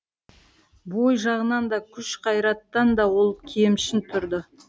бой жағынан да күш қайраттан да ол кемшін тұрды